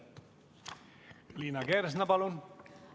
Liina Kersna, palun!